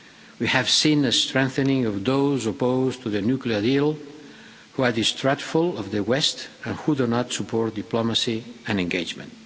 We have seen a strengthening of those opposed to the nuclear deal, who are distrustful of the West and who do not support diplomacy and engagement.